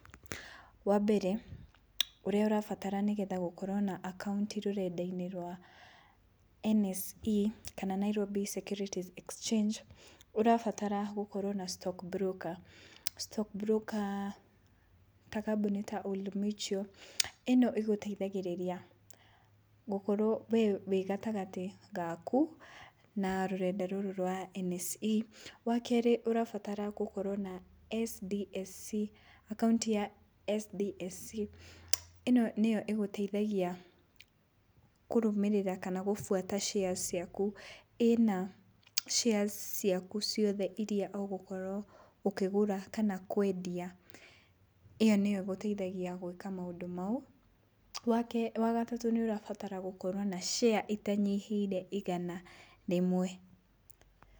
Wambere ũrĩa ũrabatara nĩgetha gũkorwo na akaunti rũrenda-inĩ rwa NSE kana Nairobi Securities Exchange, ũrabatara gũkorwo na stock broker. Stock broker ta kambũni ta Old Mutual, ĩno ĩgũteithagĩrĩria gũkorwo we wĩ gatagatĩ gaku na rũrenda rũrũ rwa NSE. Wa kerĩ, ũrabatara gũkorwo na SDSC, akaunti ya SDSC, ĩ no nĩyo ĩgũteithagia kũrũmĩrĩra kana gũbuata shares ciaku. Ĩna shares ciaku ciothe iria ũgũkorwo ũkĩgũra kana kwendia, ĩyo nĩyo ĩgũteithagia gwĩka maũndũ mau. Wa gatatũ, nĩũrabatara gũkorwo na share ĩtanyihĩire igana rĩmwe.